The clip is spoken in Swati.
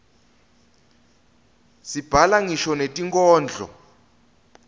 sibhala ngisho netinkhondlo